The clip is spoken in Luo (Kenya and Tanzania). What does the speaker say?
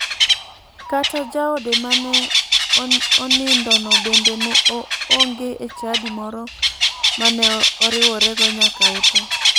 Kata jaode ma ne onindono bende ne onge e chadi moro mane oriworego nyaka otho.